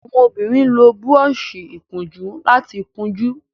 àwọn obìrin ló Búrọ́ọ̀ṣì ìkunjú láti kunjú.